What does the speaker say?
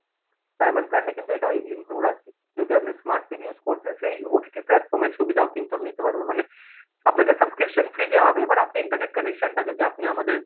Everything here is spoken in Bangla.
diamond plan এ কিন্তু এটাও include আছে, যদি আপনি smart TV use করছেন সেই OTT platform এর সুবিধাও কিন্তু আপনি নিতে পারবেন মানে আপনাকে subscription free দেয়া হবে but আপনি internet connection টা যদি আপনি আমাদের